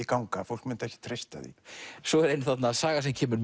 ganga fólk mundi ekki treysta því svo er ein saga sem kemur